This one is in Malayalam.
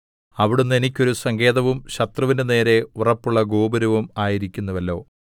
അവിടുന്ന് എനിക്കൊരു സങ്കേതവും ശത്രുവിന്റെ നേരെ ഉറപ്പുള്ള ഗോപുരവും ആയിരിക്കുന്നുവല്ലോ